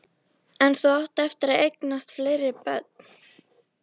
En þú átt eftir að eignast fleiri börn.